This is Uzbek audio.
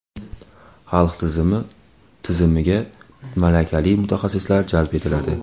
Xalq ta’limi tizimiga malakali mutaxassislar jalb etiladi.